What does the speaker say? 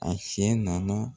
A fiyɛ nana